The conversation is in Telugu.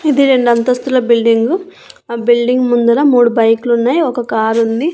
ఇది రెండంతస్తుల బిల్డింగు ఆ బిల్డింగ్ ముందర మూడు బైకులు ఉన్నాయి ఒక కారు ఉంది.